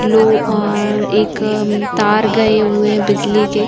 लो अ एक तार गए हुए है बिजली के।